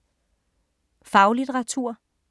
Faglitteratur